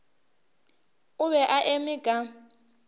o be a eme ka